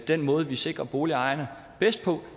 den måde vi sikrer boligejerne bedst på